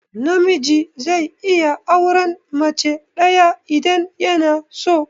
Namiji zai iya auran mace ɗaya idan yanaso.